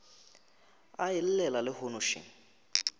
a e llela lehono še